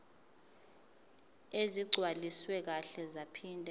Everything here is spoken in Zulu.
ezigcwaliswe kahle zaphinde